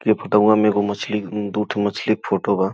के फोटउवा में एगो मछली दुठो मछली के फोटो बा।